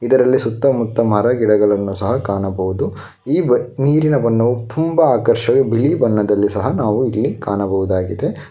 ಇದರಲ್ಲಿ ಸುತ್ತ ಮುತ್ತ ಮರಗಿಡಗಳನ್ನು ಸಹ ಕಾಣಬಹುದು ಈ ನೀರಿನ ಬಣ್ಣವು ತುಂಬ ಆಕರ್ಷವಾಗ್ ಬಿಳಿ ಬಣ್ಣದಲ್ಲಿ ಸಹ ನಾವು ಇಲ್ಲಿ ಕಾಣಬಹುದಾಗಿದೆ.